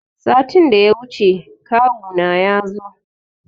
Satin da ya wuce kawu na yazo.